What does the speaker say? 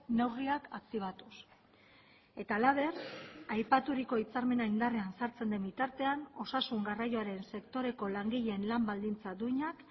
neurriak aktibatuz eta halaber aipaturiko hitzarmena indarrean sartzen den bitartean osasun garraioaren sektoreko langileen lan baldintza duinak